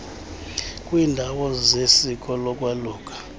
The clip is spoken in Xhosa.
kwiiindawo zesiko lokwaluka